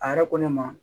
A yɛrɛ ko ne ma